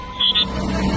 İkinci dəfədir deyirəm.